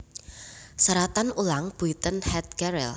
Seratan ulang Buiten het gareel